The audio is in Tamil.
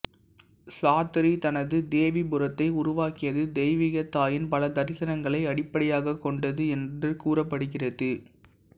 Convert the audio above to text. சாத்திரி தனது தேவிபுரத்தை உருவாக்கியது தெய்வீக தாயின் பல தரிசனங்களை அடிப்படையாகக் கொண்டது என்று கூறப்படுகிறது